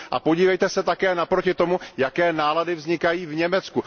A podívejte se naproti tomu, jaké nálady vznikají v Německu.